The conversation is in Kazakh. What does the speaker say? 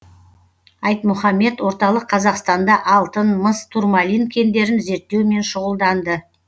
айтмұхамед орталық қазақстанда алтын мыс турмалин кендерін зерттеумен шұғылданды